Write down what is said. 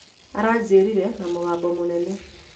Aranjĩtire na mũgambo mũnene.